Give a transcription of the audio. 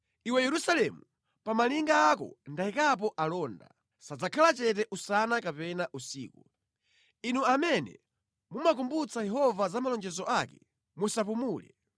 Iwe Yerusalemu, pa malinga ako ndayikapo alonda; sadzakhala chete usana kapena usiku. Inu amene mumakumbutsa Yehova za malonjezo ake musapumule.